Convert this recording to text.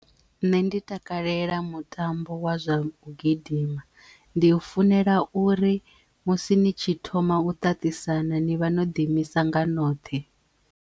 Nṋe ndi takalela mutambo wa zwa u gidima ndi u funela uri musi ni tshi thoma u ṱaṱisana ni vha no ḓiimisa nga noṱhe.